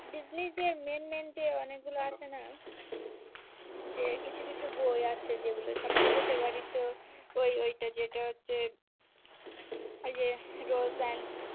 ডিজনির যে main main যে অনেক গুলো আছে না যে কিছু কিছু বই আছে যেইগুলো সব থেকে favourite তো ওই ওইটা যেটা হচ্ছে ওই যে rose plant